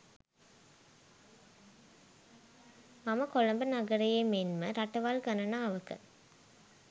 මම කොළඹ නගරයේ මෙන්ම රටවල් ගණනාවක